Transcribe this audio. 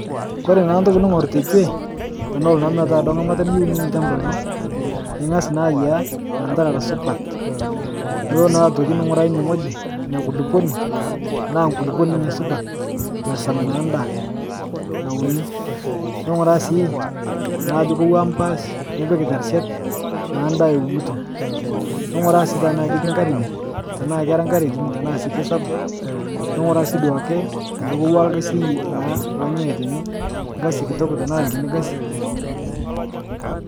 Kore naa ntoki ning'or tekwe tenolo duo metaa ng'amata niyeu niun lchamba lino ing'as naa ayaiya lantarara supat, nulo naa atoki ning'uraa ine ng'oji nia kuluponi metaa nkuluponi supat ninye nashaam naa ndaa nauni, ning'uraa sii naa ajo keuwa mpaash nipik terishat naa ndaa iunuto, ning'uraa sii tanaa ketii nkare ine tanaa kera nkare kini tanaa sii keisapuk, ning'uraa sii duake ajo kouwaa lgasi naa lonyae tene lgasi kitok tanaa kini gasi.